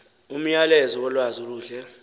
umyalezo wolwazi oluhle